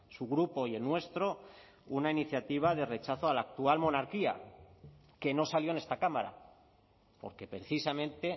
su grupo y el nuestro una iniciativa de rechazo a la actual monarquía que no salió en esta cámara porque precisamente